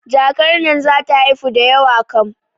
Jakar nan zata haifu da yawa kam